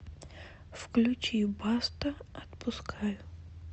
включи баста отпускаю